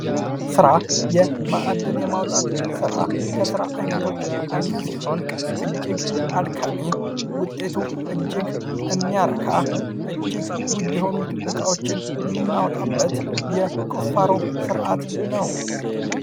ሥራ የማዕድን የማውጣት ሥራ ከሥራ ዓይነቶች አንዱ ሲሆን፤ እጅግ አድካሚ ውጤቱ እጅግ የሚያረካ፣ እጅግ ውድ የሆኑ እቃዎችን የምናወጣበት የቁፋሮ ሥርዓት ነው።